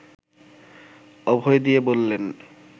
অভয় দিয়ে বললেন